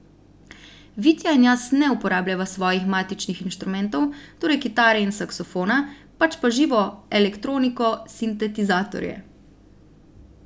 Vitja in jaz ne uporabljava svojih matičnih inštrumentov, torej kitare in saksofona, pač pa živo elektroniko, sintetizatorje.